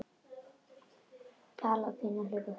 Palli og Pína hlaupa fram.